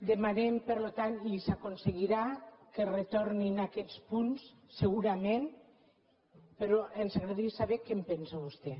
demanem per tant i s’aconseguirà que es retornin aquests punts segurament però ens agradaria saber què en pensa vostè